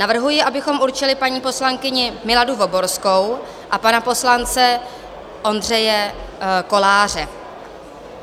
Navrhuji, abychom určili paní poslankyni Miladu Voborskou a pana poslance Ondřeje Koláře.